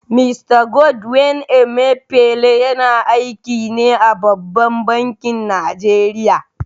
Mista Godwin Emefiele yana aiki ne a babban bankin Najeriya.